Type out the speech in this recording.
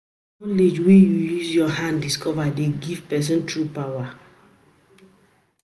Na knowledge wey you use your hand discover dey give person true power.